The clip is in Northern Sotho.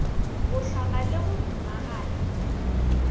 go hlama le go momaganya